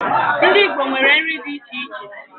Ndi Igbo nwere nri di iche iche